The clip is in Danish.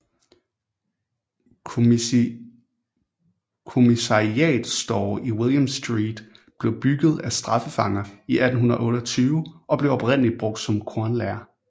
Commissariat Store i William Street blev bygget af straffefanger i 1828 og blev oprindeligt brugt som kornlager